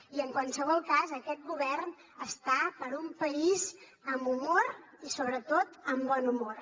i en qualsevol cas aquest govern està per un país amb humor i sobretot amb bon humor